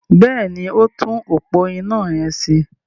Bẹ́ẹ̀ni, ó ń tún òpó iná yẹn ṣe.